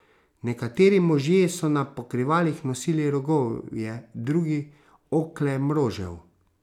Nekateri možje so na pokrivalih nosili rogovje, drugi okle mrožev.